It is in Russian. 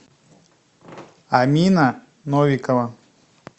амина новикова